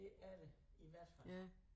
Det er det i hvert fald